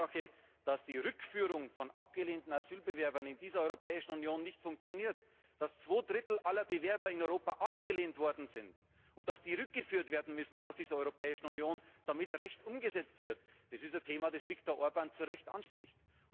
B. die Tatsache, dass die Rückführung von abgelehnten Asylbewerbern in dieser Europäischen Union nicht funktioniert, dass zwei Drittel aller Bewerber in Europa abgelehnt worden sind und dass sie rückgeführt werden müssen aus dieser Europäischen Union, damit Recht umgesetzt wird Das ist ein Thema, das Viktor Orbán zu Recht anspricht.